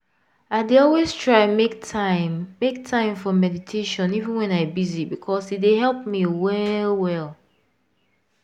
i dey always try make time make time for meditation even wen i busy because e dey help me well well.